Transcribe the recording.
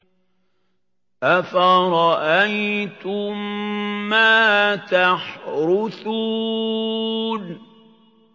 أَفَرَأَيْتُم مَّا تَحْرُثُونَ